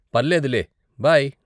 పర్లేదులే, బై.